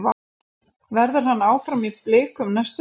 Verður hann áfram í Blikum næsta sumar?